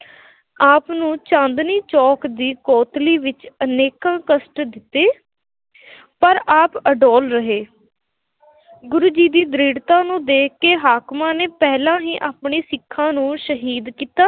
ਆਪ ਨੂੰ ਚਾਂਦਨੀ ਚੌਕ ਦੀ ਕੋਤਵਾਲੀ ਵਿੱਚ ਅਨੇਕਾਂ ਕਸ਼ਟ ਦਿੱਤੇ ਪਰ ਆਪ ਅਡੋਲ ਰਹੇ ਗੁਰੂ ਜੀ ਦੀ ਦ੍ਰਿੜ੍ਹਤਾ ਨੂੰ ਦੇਖ ਕੇ ਹਾਕਮਾਂ ਨੇ ਪਹਿਲਾਂ ਹੀ ਆਪਣੇ ਸਿੱਖਾਂ ਨੂੰ ਸ਼ਹੀਦ ਕੀਤਾ।